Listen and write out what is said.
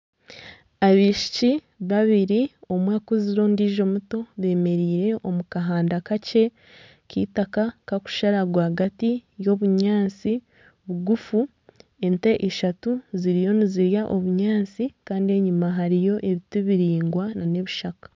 Abaishiki babiri omwe akuzire ondijo muto bemereire omu kahanda kakye k'eitaaka kakushara rwagati y'obunyaatsi bugufu, ente ishatu ziriyo nizirya obunyaatsi kandi enyuma hariyo ebiti biraingwa n'ebishaka.